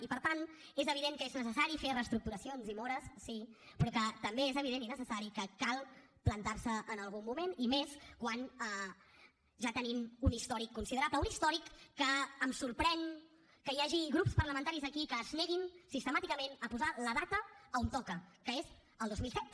i per tant és evident que és necessari fer reestructuracions i mores sí però que també és evident i necessari que cal plantar se en algun moment i més quan ja tenim un històric considerable un històric que em sorprèn que hi hagi grups parlamentaris aquí que es neguin sistemàticament a posar hi la data on toca que és el dos mil set